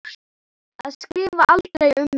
Að skrifa aldrei um mig.